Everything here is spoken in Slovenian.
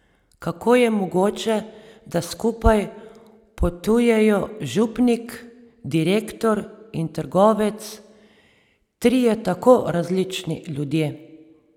Kako je mogoče, da skupaj potujejo župnik, direktor in trgovec, trije tako različni ljudje.